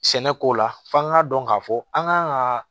Sɛnɛko la f'an ka dɔn k'a fɔ an kan ka